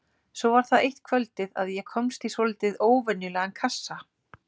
Svo var það eitt kvöldið að ég komst í svolítið óvenjulegan kassa.